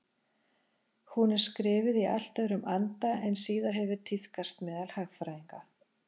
Hún er skrifuð í allt öðrum anda en síðar hefur tíðkast meðal hagfræðinga.